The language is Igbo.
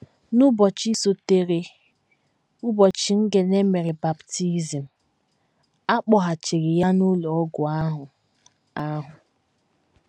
N’ụbọchị sotere ụbọchị Ngene mere baptizim, a kpọghachiri ya n’ụlọ ọgwụ ahụ ahụ.